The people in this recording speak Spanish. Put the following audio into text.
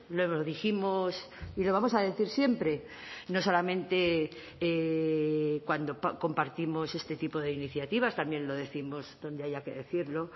lo dijimos y lo vamos a decir siempre no solamente cuando compartimos este tipo de iniciativas también lo décimos donde haya que decirlo